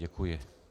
Děkuji.